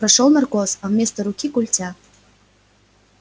пошёл наркоз а вместо руки культя